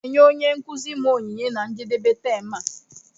M ga-enye onye nkuzi m onyinye na njedebe tem a